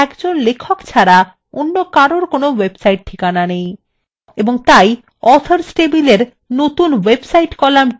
যেমন ধরুন শুধুমাত্র একজন লেখক ছাড়া অন্য কারুর কোনো website ঠিকানা নেই